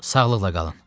Sağlıqla qalın.